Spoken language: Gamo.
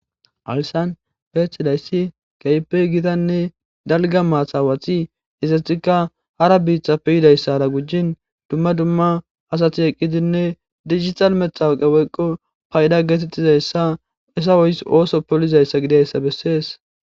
Hayssan beetidayssi keype gitanne dalgga maathawati isetikka hara biiththappeyidayssara gujjin dumma dumma asati eqqidinne digital metawuqe woyqo payda geetettizayssa isa woys ooso polizayssa gidayssa bessees